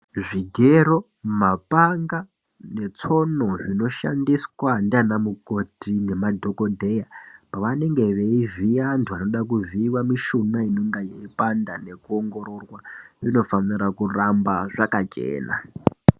Zvigero mapanga zviounu zvinoshandiswa nana mukoti nemadhokodheya panenge veivhiya vantu vanenge vane panopanda vanoongororwa zvinoramba zvakachena.